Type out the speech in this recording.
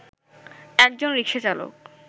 একজন রিকশাচালক